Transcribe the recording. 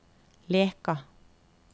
Leka